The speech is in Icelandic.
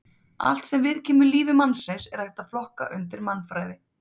Allt sem viðkemur lífi mannsins er hægt að flokka undir mannfræði.